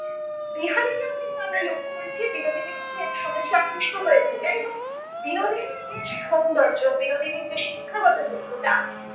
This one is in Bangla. বিহারীকেও কিন্তু আমরা লক্ষ্য করেছি বিনোদিনীর প্রতি একসময় সে আকৃষ্ট হয়েছে। যাই হোক, বিনোদিনীর যে সৌন্দর্য বিনোদিনীর যে শিক্ষাগত যোগ্যতা